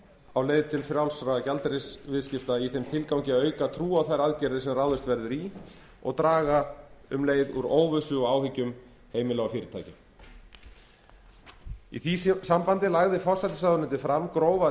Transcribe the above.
á leið til frjálsra gjaldeyrisviðskipta í þeim tilgangi að auka trú á þær aðgerðir sem ráðist verður í og draga um leið úr óvissu og áhyggjum heimila og fyrirtækja í því sambandi lagði forsætisráðuneytið fram grófa